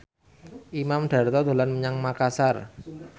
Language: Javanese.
Imam Darto dolan menyang Makasar